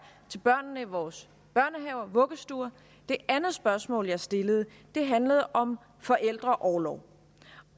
til børnene i vores børnehaver og vuggestuer det andet spørgsmål jeg stillede handlede om forældreorlov